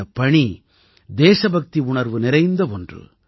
இந்தப் பணி தேசபக்தி உணர்வு நிறைந்த ஒன்று